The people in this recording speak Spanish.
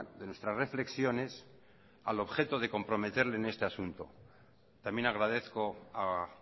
de nuestras reflexiones al objeto de comprometerle en este asunto también agradezco a